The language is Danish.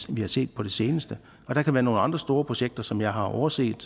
vi har set på det seneste der kan være nogle andre store projekter som jeg har overset